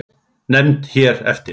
Nefnd hér eftir